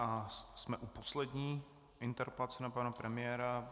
A jsme u poslední interpelace na pana premiéra.